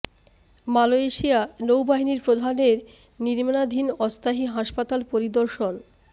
Malaysia নৌবাহিনীর প্রধানের নির্মাণাধীন অস্থায়ী হাসপাতাল পরিদর্শন মালয়েশিয়া নৌবাহিনীর প্রধানের নির্মাণাধীন অস্থায়ী হাসপাতাল পরিদর্শন